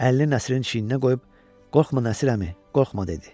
Əlini Nəsrinin çiyininə qoyub, qorxma Nəsir əmi, qorxma dedi.